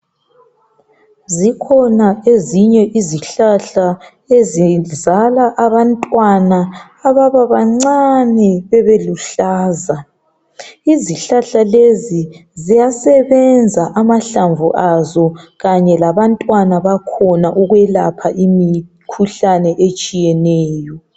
Zikhona ezinye izihlahla ezizala abantwana ababa bancane bebe luhlaza izihlahla lezi ziyasebenza amahlamvu azo kanye labantwana bakhona ukwelapha imikhuhlane etshiyeneyo.